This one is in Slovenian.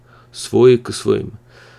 Svoji k svojim.